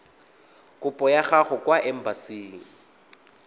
kopo ya gago kwa embasing